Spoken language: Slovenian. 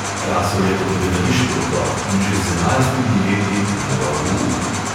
Rasel je kot gledališki otrok in že z enajstimi leti moral v uk.